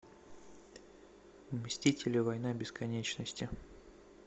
мстители война бесконечности